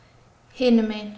hinum megin